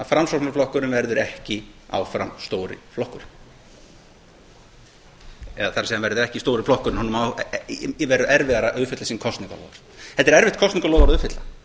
framsóknarflokkurinn verður ekki áfram stóri flokkurinn eða það er hann verður ekki stóri flokkurinn honum verður erfiðara að uppfylla sín kosningaloforð þetta er erfitt kosningaloforð að uppfylla